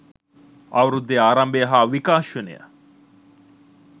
අවුරුද්දේ ආරම්භය හා විකාශනය